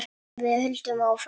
Við höldum áfram.